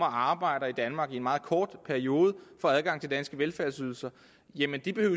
at arbejde i danmark i en meget kort periode får adgang til danske velfærdsydelser jamen